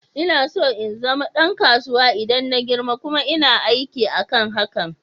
Ina so in zama ɗan kasuwa idan na girma, kuma ina aiki akan hakan.